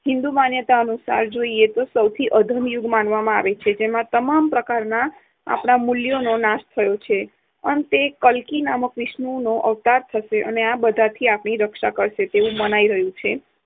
હિન્દુ માન્યતા અનુસાર સૌથી અધમયુગ માનવામાં આવે છે. જેમાં તમામ પ્રકારના મૂલ્યોનો નાશ થાય છે, અને અંતે કલ્કિ નામક વિષ્ણુનો અવતાર થશે અને આ બધાથી આપણી રક્ષા કરશે તેવું મનાઈ રહ્યું છે.